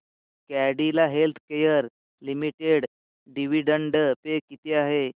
Cadila healthcare limited dividend pay किती आहे